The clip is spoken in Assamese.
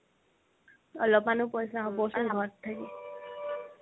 অলপমানও পইচা হ'ব ঘৰত থাকি